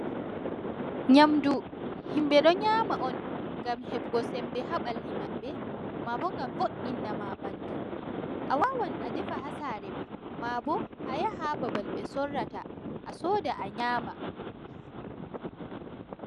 Nyaamdu, himɓe ɗo nyaama on ngam heɓugo semmbe haa ɓalli maɓɓe, maa bo ngam wo''inina maa ɓanndu. A waawan a defa haa saare maa, maabo a yaha haa babal ɓe soorata a sooda a nyaama.